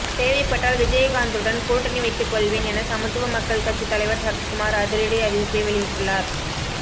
தேவைப்பட்டால் விஜயகாந்துடன் கூட்டணி வைத்துக் கொள்வேன் என சமத்துவ மக்கள் கட்சித் தலைவர் சரத்குமார் அதிரடி அறிவிப்பை வெளியிட்டுள்ளார்